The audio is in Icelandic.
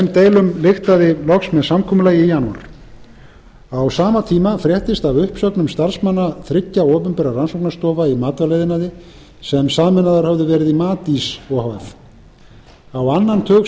þeim deilum lyktaði loks með samkomulagi í janúar á sama tíma fréttist af uppsöfnun starfsmanna þriggja opinberra rannsóknarstofa í matvælaiðnaði sem sameinaðar höfðu verið í matís o h f á annan tug starfsmanna ákvað